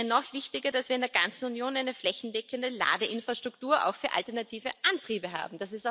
Es wäre noch wichtiger, dass wir in der ganzen Union eine flächendeckende Ladeinfrastruktur auch für alternative Antriebe haben.